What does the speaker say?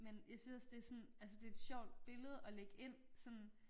Men jeg synes også det sådan altså det et sjovt billede at lægge ind sådan